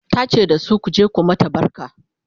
ta ce dasu " ku je ku mata barka!"